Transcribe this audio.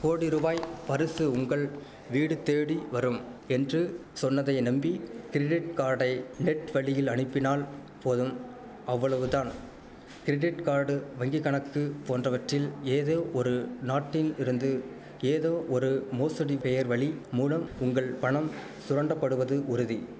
கோடிருபாய் பருசு உங்கள் வீடு தேடிவரும் என்று சொன்னதை நம்பி கிரிடிட்கார்டை நெட் வழியில் அனுப்பினால் போதும் அவ்வளவுதான் கிரிடிட்கார்டு வங்கிக்கணக்கு போன்றவற்றில் ஏதோ ஒரு நாட்டில் இருந்து ஏதோ ஒரு மோசடி பேர்வலி மூலம் உங்கள் பணம் சுரண்டப்படுவது உறுதி